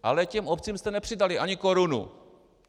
Ale těm obcím jste nepřidali ani korunu!